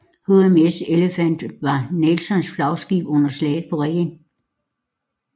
HMS Elephant var Nelsons flagskib under Slaget på Reden